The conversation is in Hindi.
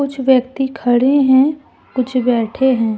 कुछ व्यक्ति खड़े हैं कुछ बैठे हैं।